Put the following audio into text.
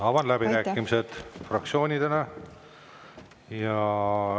Avan läbirääkimised fraktsioonidele.